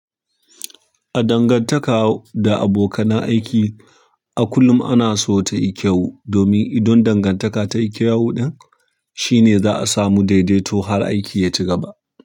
A dangantaka da abokanan aiki a kullum ana so ta yi kyau domin idan dangantaka ta yi kyau, ɗan shine za a samu daidaito har aiki ya ci gaba.